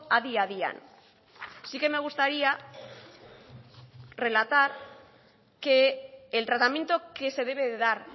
adi adian sí que me gustaría relatar que el tratamiento que se debe de dar